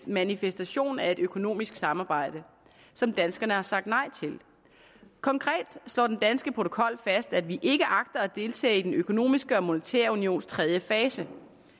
manifestation af et økonomisk samarbejde som danskerne har sagt nej til konkret slår den danske protokol fast at vi ikke agter at deltage i den økonomiske og monetære unions tredje fase